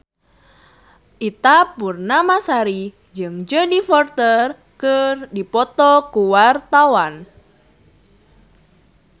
Ita Purnamasari jeung Jodie Foster keur dipoto ku wartawan